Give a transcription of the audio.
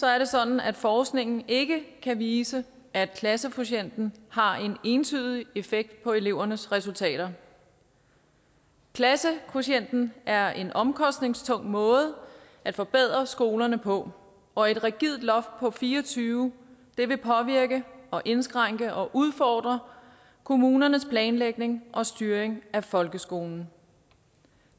er det sådan at forskningen ikke kan vise at klassekvotienten har en entydig effekt på elevernes resultater klassekvotienten er en omkostningstung måde at forbedre skolerne på og et rigidt loft på fire og tyve vil påvirke og indskrænke og udfordre kommunernes planlægning og styring af folkeskolen